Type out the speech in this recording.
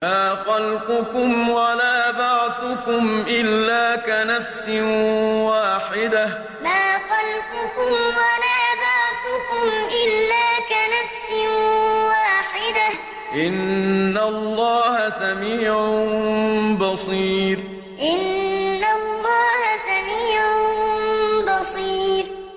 مَّا خَلْقُكُمْ وَلَا بَعْثُكُمْ إِلَّا كَنَفْسٍ وَاحِدَةٍ ۗ إِنَّ اللَّهَ سَمِيعٌ بَصِيرٌ مَّا خَلْقُكُمْ وَلَا بَعْثُكُمْ إِلَّا كَنَفْسٍ وَاحِدَةٍ ۗ إِنَّ اللَّهَ سَمِيعٌ بَصِيرٌ